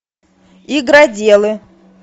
игроделы